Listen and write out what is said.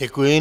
Děkuji.